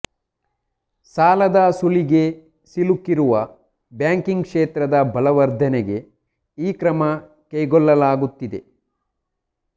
ಸಾಲದ ಸುಳಿಗೆ ಸಿಲುಕಿರುವ ಬ್ಯಾಂಕಿಂಗ್ ಕ್ಷೇತ್ರದ ಬಲವರ್ಧನೆಗೆ ಈ ಕ್ರಮ ಕೈಗೊಳ್ಳಲಾಗುತ್ತಿದೆ